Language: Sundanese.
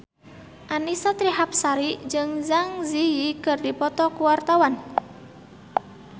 Annisa Trihapsari jeung Zang Zi Yi keur dipoto ku wartawan